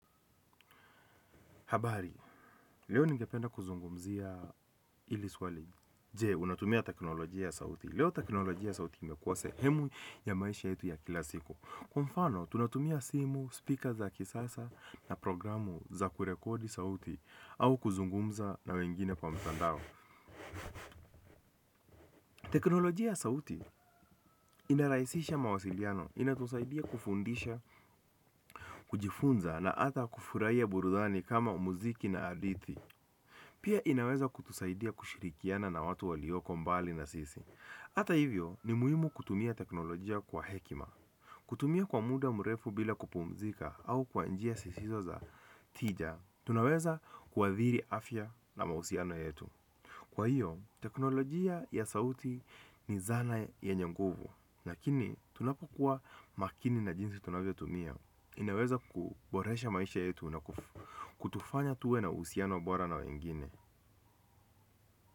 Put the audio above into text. Habari, leo ningependa kuzungumzia ili swali. Je, unatumia teknolojia ya sauti? Leo teknolojia ya sauti imekuwa sehemu ya maisha yetu ya kila siku. Kwa mfano, tunatumia simu, speaker za kisasa na programu za kurekodi sauti au kuzungumza na wengine kwa mtandao. Teknolojia ya sauti ina raisisha mawasiliano, inatusaidia kufundisha, kujifunza na ata kufuraia burudhani kama umuziki na adithi. Pia inaweza kutusaidia kushirikiana na watu walioko mbali na sisi. Ata hivyo, ni muhimu kutumia teknolojia kwa hekima. Kutumia kwa muda mrefu bila kupumzika au kwa njia sisizo za tija, tunaweza kuwathiri afya na mausiano yetu. Kwa hiyo, teknolojia ya sauti ni zana yenye nguvu. Lakini, tunapokuwa makini na jinsi tunavyo tumia. Inaweza kuboresha maisha yetu na kutufanya tuwe na usiano bora na wengine.